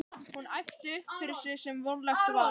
Hún æpti upp yfir sig sem vonlegt var.